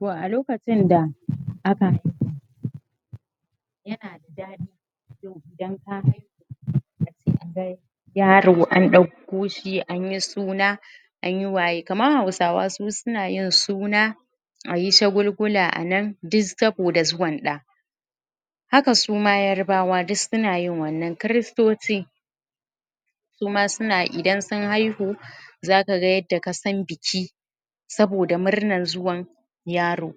To a lokacin da? yaro an ɗau ko shi anyi suna an yi waye kaman hausa su suna yin suna ayi shagulgula anan duk saboda zuwan ɗa haka suma yarbawa duk suna yin wannan kiristoci suma suna idan sun haihu za ga yadda ka san biki saboda murnan zuwan yaro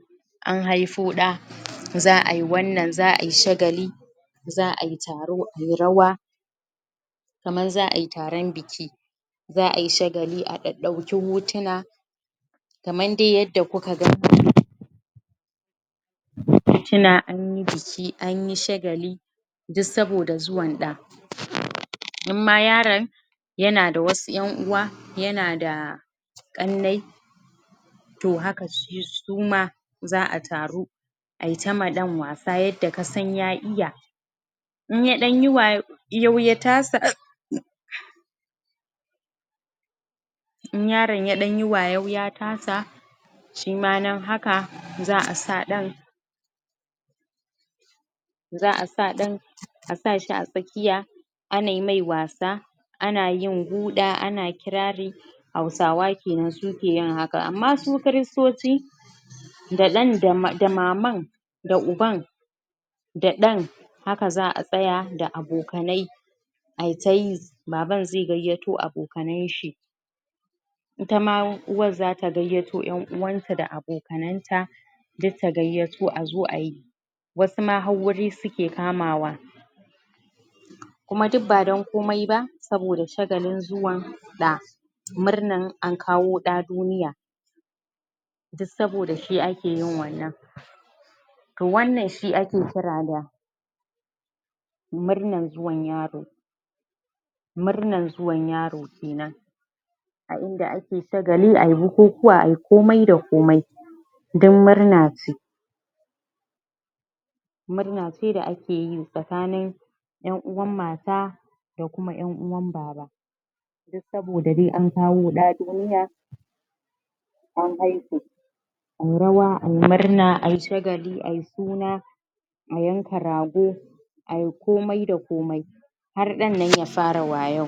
an haifo ɗa za ayi wannan za ayi wannan za ayi taro ayi rawa kaman za ayi taron biki za ayi shagali a ɗaɗɗauki hotuna kaman dai yadda kuka ga domin a tuna anyi biki anyi shagali duk saboda zuwa ɗa? in ma yaron yana da wasu ƴan uwa yana da ƙannai to haka suma za a taru ai ta ma ɗan wasa yadda kasan ya iya in ya ɗan yi wayo ya tasa in yaron ya ɗan yi wayo ya tasa shima nan haka za a sa ɗin za a sa ɗin a sa shi a tsakiya a nai mai wasa ana yin guɗa ana yin kirari hausaw kenan su ke yin haka amma su kiristoci da ɗan da maman da uban da ɗan haka za a tsaya da abokanai ayi ta yi baban zai gayyato abokanan shi ita ma uwar zata gayyato ƴan uwanta da abokanta duk ta gayyato azo ayi wasu ma har wuri suke kamawa kuma duk ba don komai ba saboda shagalin zuwan ɗa murnan an kawo ɗa duniya duk saboda shi ake yin wannan to wannan shi ake kira da murnan zuwan yaro murnan zuwan yawo kenan a inda ake shagali ayi bukukuwa ayi komai da komai duk murna ce murna ce da ake yi tsakanin ƴan uwan mata da kuma ƴan uwan baba duk saboda dai an kawo ɗa duniya an haihu ayi rawa ayi murna ayi shagali ayi suna a yanka rago ayi komai da komai har ɗan nan ya fara wayau